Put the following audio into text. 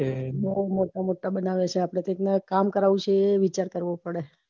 લોકો તો મોટા અબન્વીયે છીએ અપડે કામ કરવું છે એય વિચાર કરવો પડે